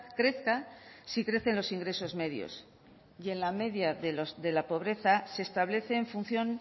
crezca si crecen los ingresos medios y en la media de la pobreza se establece en función